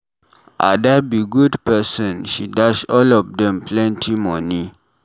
Ada be good person. She dash all of dem plenty money.